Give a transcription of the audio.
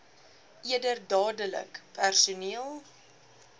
eerder dadelik personeel